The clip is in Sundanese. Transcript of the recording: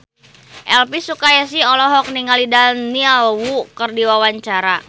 Elvi Sukaesih olohok ningali Daniel Wu keur diwawancara